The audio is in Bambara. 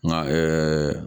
Nka